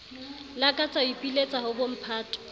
lakatsa ho ipiletsa ho bomphato